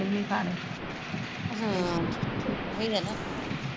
ਹਮ ਉਹੀਂ ਐ ਨਾ